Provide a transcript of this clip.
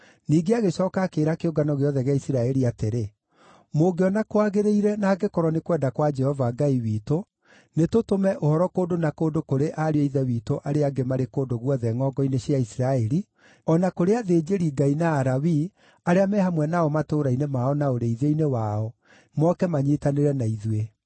Ningĩ agĩcooka akĩĩra kĩũngano gĩothe gĩa Isiraeli atĩrĩ, “Mũngĩona kwagĩrĩire na angĩkorwo nĩ kwenda kwa Jehova Ngai witũ, nĩ tũtũme ũhoro kũndũ na kũndũ kũrĩ ariũ a ithe witũ arĩa angĩ marĩ kũndũ guothe ngʼongo-inĩ cia Isiraeli, o na kũrĩ athĩnjĩri-Ngai na Alawii arĩa me hamwe nao matũũra-inĩ mao na ũrĩithio-inĩ wao, moke manyiitanĩre na ithuĩ.